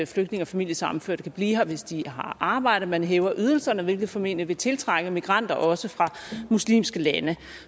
flygtninge og familiesammenførte kan blive her hvis de har arbejde og man hæver ydelserne hvilket formentlig vil tiltrække migranter også fra muslimske lande